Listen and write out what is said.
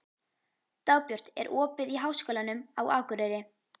Dagbjört, er opið í Háskólanum á Akureyri?